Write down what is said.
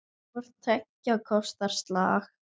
Hvort tveggja kostar slag.